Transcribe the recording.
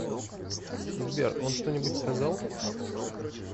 сбер он что нибудь сказал